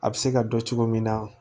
A bɛ se ka dɔn cogo min na